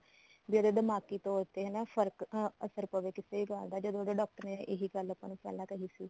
ਵੀ ਉਹਦੇ ਦਿਮਾਗੀ ਤੋਰ ਤੇ ਹਨਾ ਫਰਕ ਅਹ ਅਸਰ ਪਵੇ ਕਿਸੇ ਗੱਲ ਦਾ ਜੱਦ ਉਹਦੇ doctor ਨੇ ਇਹੀ ਗੱਲ ਆਪਾਂ ਨੂੰ ਪਹਿਲਾਂ ਕਹੀ ਸੀ